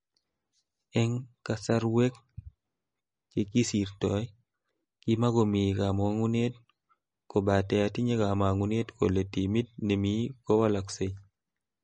�Eng kasarwek chekisirtoi ,kimakomii kama'ngunet kobate atinye kama'ngunet kole timit nemii kowalaksei.